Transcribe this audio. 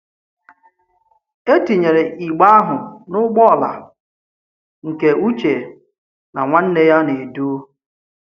E tinyèrè ìgbe ahụ n’ụgbọala, nke Ùchè na nwanne ya na-edu.